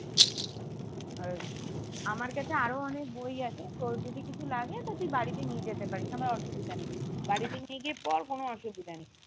আর আমার কাছে আরো অনেকে বই আছে তোর যদি কিছু লাগে তা তুই বাড়িতে নিয়ে যেতে পারিস আমার অসুবিধা নেই বাড়িতে নিয়ে গিয়ে পর কোনো অসুবিধা নেই